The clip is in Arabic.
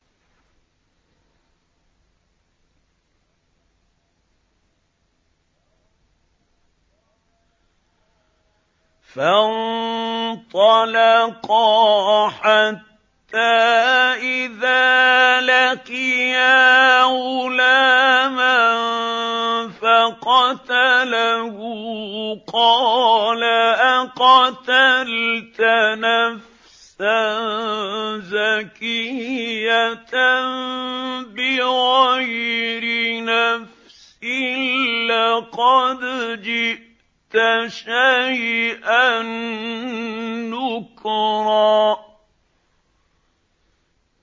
فَانطَلَقَا حَتَّىٰ إِذَا لَقِيَا غُلَامًا فَقَتَلَهُ قَالَ أَقَتَلْتَ نَفْسًا زَكِيَّةً بِغَيْرِ نَفْسٍ لَّقَدْ جِئْتَ شَيْئًا نُّكْرًا